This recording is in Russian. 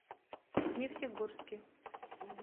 нефтегорске